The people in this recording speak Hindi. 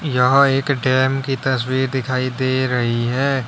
यहां एक डेम की तस्वीर दिखाई दे रही है।